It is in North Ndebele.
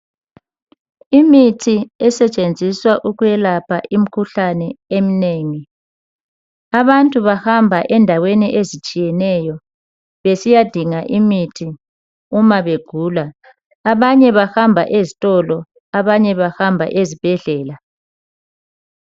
Imithi esetshenziswa ukwelapha imkhuhlane emnengi, abantu bahamba endaweni ezitshiyeneyo besiyadinga imithi uma begula. Abanye bahamba ezitolo abanye bahamba ezibhedlela.